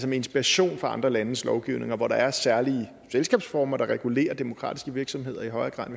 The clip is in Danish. inspiration fra andre landes lovgivninger hvor der er særlige selskabsformer der regulerer demokratiske virksomheder i højere grad